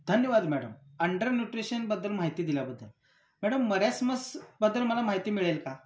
धन्यवाद madam, under न्यूट्रिशनबद्दल माहिती दिल्याबद्दल. मॅडम मरासमसबद्दल मला माहिती मिळेल का?